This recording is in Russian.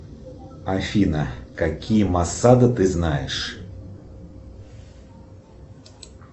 афина какие массажи ты знаешь